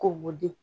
Ko di